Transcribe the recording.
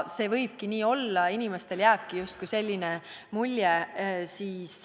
Võibki nii olla, et inimestele jääb selline mulje.